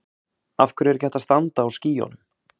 af hverju er ekki hægt að standa á skýjunum